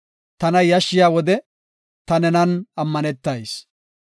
Tana yashshiya wode ta nenan ammanetayis.